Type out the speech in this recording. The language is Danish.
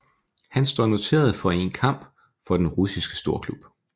Han står noteret for én kamp for den russiske storklub